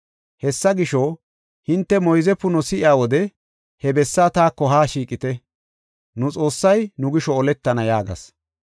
Hessa gisho, hinte moyze puno si7iya wode he bessaa taako haa shiiqite. Nu Xoossay nu gisho oletana” yaagas.